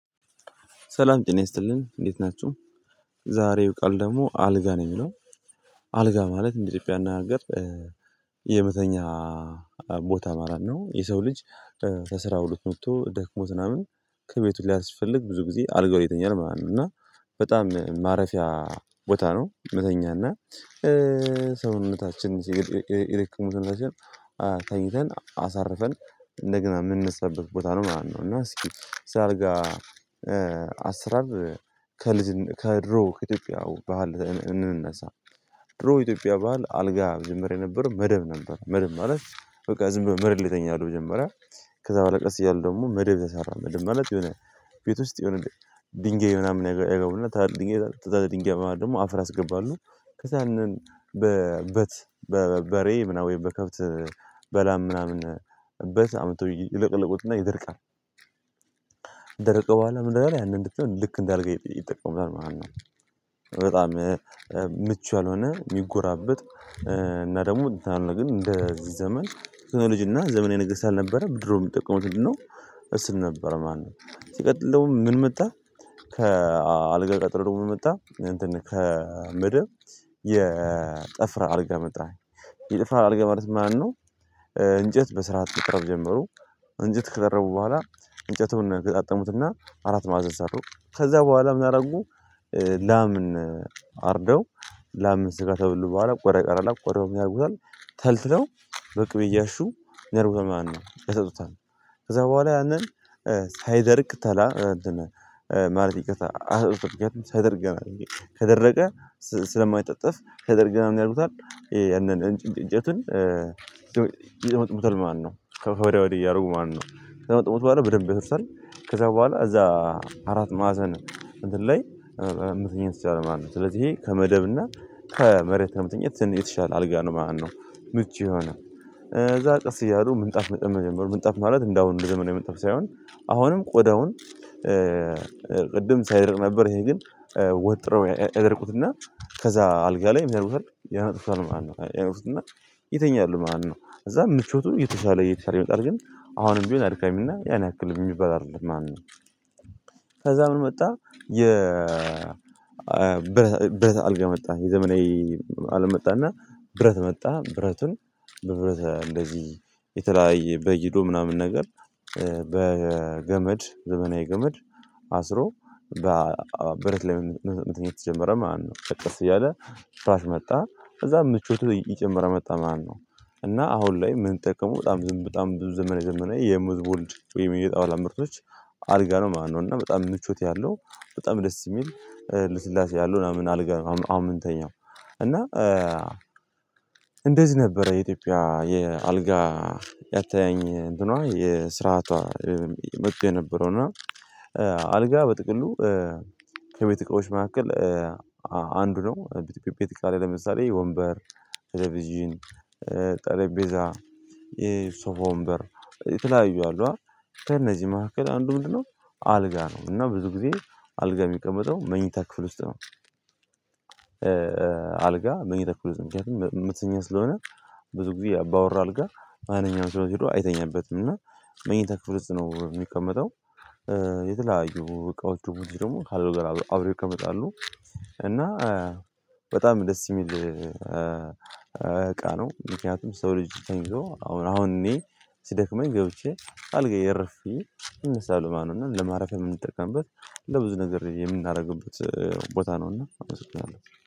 ሰላም ጭና ያስጥልኝ እንዴት ናችሁ? ዛሬው ቃል ደግሞ አልጋ ነው የሚለው። አልጋ ማለት እንደ ኢትዮጵያ እናገር የመተኛ ቦታ ማለት ነው። የሰው ልጅ ከስራ ውሎ መጥቶ ደክሞ ምናምን ከቤቱ ሊያስፈልግ ብዙ ጊዜ አልጋው ይተኛል ማለት ነው። እና በጣም ማረፊያ ቦታ ነው። መተኛና ሰውነታችን ይረቅሙትና ላይክ ተኝተን አሳርፈን እንደግና የምንሰራበት ቦታ ነው ማለት ነው። እና እስኪ ስለ አልጋ አስራብ ከልጅ ከድሮ ከኢትዮጵያ ባህል እንነሳ ድሮ ኢትዮጵያ ባህል አልጋ የጀመረ የነበረው መደብ ነበር። መደብ ማለት በቃ ዝም ብሎ መርት ይተኛለሁ ጀመረ። ከዛ በኋላ ቀስ እያሉ ደግሞ መደብ ተሰራ መደብ ማለት የሆነ ቤት ውስጥ የሆነ ድንጋይ ምናምን ያገቡና ድንጋይ ድንጋይ በማለት ደግሞ አፍር ያስገባሉ ከዛ ያንን በበት በበሬ ምናምን በከብት በላ ምናምን እበት አምጥተው ይለቀለቁትና ለቀለቁትና ይደርቃል። ከደረቀ በኋላ ምን አይነት ያንን እንድትሆን ልክ እንዳልገኝ ይጠቀምበታል ማለት ነው። በጣም ምቹ ያልሆነ የሚጎራበጥ እና ደግሞ ግን እንደዚህ ዘመን ቴክኖሎጂ እና ዘመናዊ ነገስት አልነበረም። ብድሮ የምትጠቀመው ስል ነበር ማነው ሲቀጥል ደግሞ ምን መጣህ? ከአልጋ ቀጥሎ ደግሞ ምን መጣ እንትን ከምድር የጠፍራ አልጋ ምጣኝ የጥፍራ አልጋ ማለት ማነው? እንጨት በስርዓት መቅረብ ጀመሩ እንጨት ከቀረቡ በኋላ እንጨቱን ገጣጥሙትና አራት ማዕዘን ሰሩ። ከዛ በኋላ ምናረጉ ላምን አርደው ላምን ስጋ ተብሎ በኋላ ቆረ ቀረ ላምን ቆረቀረም ያልኩታል ተልትለው በቅብ እያሹ ነርቡ ማነው ያሰጡታል። ከዛ በኋላ ያንን ሳይደርቅ ታላ እንትን ማለት ይቅርታ አስፈላጊያት ተደርገናል ከደረቀ ስለማይጠጠፍ ከደርገህ ነው ያሉታል ያንን እንጭንጭጨቱን እንጀትን ይመጥሙትል ማነው ከፈረሚያ ወዲህ እያረጉ ማነው ነው። ከዛ መጥሞት በኋላ በደንብ ይፈርሳል ከዛ በኋላ እዛ አራት ማዕዘን እንትን ላይ የምትነኝ ስትል ማለት ነው። ስለዚህ ይሄ ከመደብ እና ከመሬት ነው የምትኝት የተሻለ አልጋ ነው። ማነው ምቹ የሆነ እዛ ቀስ እያሉ ምንጣፍ መጠመን ጀመሩ ምንጣፍ ማለት እንደ አሁኑ እንደ ዘመናዊ ምንጣፍ ሳይሆን አሁንም ቆዳውን ቅድም ሳይደር ነበር ይሄ ግን ወጥረው ያደርጉትና ከዛ አልጋ ላይ የሚያደርጉት ያን ያነበብኳል ማለት ነው ያውቁትና ይተኛል ማለት ነው። እዛ ምቾቱን እየተወሰነ እየተወሰነ ይመጣል ግን አሁንም ቢሆን አድካሚና ያን ያክል የሚባል አይደለም ማን ማነው? ከዛ ምን መጣ የ ብረት አልጋ መጣ። የዘመናዊ አለም መጣና ብረት መጣ ብረትን በብረት እንደዚህ የተለያየ በይዶ ምናምን ነገር በገመድ ዘመናዊ ገመድ አስሮ በብረት ላይ መንተኛ የተጀመረ ማነው ከቀስ እያለ ፍራት መጣ። ከዛ ምቾቱ ይጀምረው መጣ ማነው እና አሁን ላይ ምን ጠመው በጣም ዝም በጣም ብዙ ዘመነ ዘመነ የሙዝ ወልድ የሙዝ የጌጥ አዋላም ምርቶች አልጋ ነው። ማነው እና በጣም ምቾት ያለው በጣም ደስ የሚል ልስላሴ ያለው ምናምን አልጋ አምንተኛው እና እንደዚህ ነበረ። የኢትዮጵያ የአልጋ ያተኛኘት እንደኗ የስርዓቷ መጥቶ የነበረው እና አልጋ በጥቅሉ ከቤት መካከል አንዱ ነው። ቤተክርስቲያ ላይ ለምሳሌ ወንበር ትልቪዥን ጠለቤዛ የሶፎ ወንበር ተለያዩ አሉ ከእነዚህ መካከል አንዱ ምንድነው? አልጋ ነው እና ብዙ ጊዜ አልጋ የሚቀመጠው መኝታ ክፍል ውስጥ ነው። አልጋ መኝታ ውስጥ ምክንያቱም የመተኛ ስለሆነ ብዙ ጊዜ ያባወራ አልጋ ማንኛውም ሲሆን ይሄዳል አይተኛበትም እና መኝታ ክፍል ነው የሚቀመጠው። የተለያዩ በቃው ደግሞ ካልሆነ ጋር አብረው ይቀመጣሉ እና በጣም ደስ የሚል እቃ ነው። ምክንያቱም ሰው ልጅ ተኝቶ አሁን አሁን እኔ ስደክመኝ ገብቼ አልገኝ የረፊ ይመስላሉ ማነው እና ለማረፍ የምንጠቀምበት ለብዙ ነገር የምናደርግበት ቦታ ነውና አመስግናለሁ